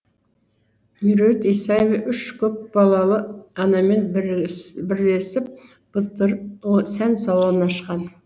меруерт исаева үш көпбалалы анамен бірлесіп былтыр сән салонын ашқан